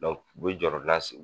u bi jɔrɔ